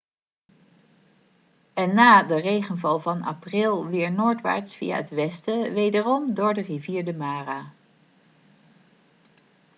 en na de regenval van april weer noordwaarts via het westen wederom door de rivier de mara